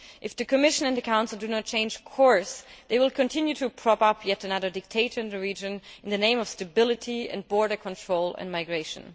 If the Commission and the Council do not change course, it will continue to prop up yet another dictator in the region in the name of stability and border control and migration.